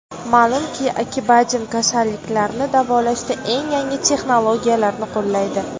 Ma’lumki, Acibadem kasalliklarni davolashda eng yangi texnologiyalarni qo‘llaydi.